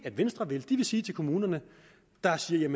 venstre vil de vil sige til de kommuner der siger